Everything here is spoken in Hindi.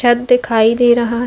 छ्त दिखाई दे रहा --